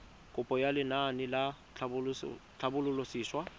kopo ya lenaane la tlhabololosewa